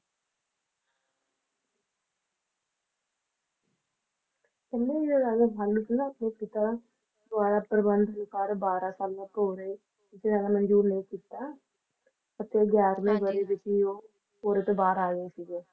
ਕਹਿੰਦੇ ਜਿਹੜਾ Raja Rasalu ਸੀ ਨਾ ਉਹ ਆਪਣੇ ਪਿਤਾ ਦੁਆਰਾ ਪ੍ਰਬੰਧ ਨਿਖਾਰ ਬਾਰਾਂ ਸਾਲਾਂ ਤੋਂ ਹੋ ਰਹੇ ਜਿੱਥੇ ਜ਼ਿਆਦਾ ਮਨਜੂਰ ਲੇਖ ਕੀਤਾ ਤੇ ਗਿਆਰ੍ਹਵੇਂ ਵਰ੍ਹੇ ਵਿੱਚ ਹੀ ਉਹ ਭੋਰੇ ਤੋਂ ਬਾਹਰ ਆ ਗਏ ਸੀਗੇ